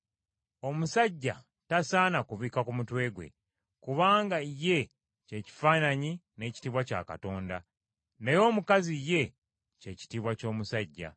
Omusajja tasaana kubikka ku mutwe gwe, kubanga ye kye kifaananyi n’ekitiibwa kya Katonda; naye omukazi ye ky’ekitiibwa ky’omusajja.